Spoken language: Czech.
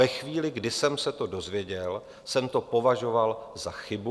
Ve chvíli, kdy jsem se to dozvěděl, jsem to považoval za chybu.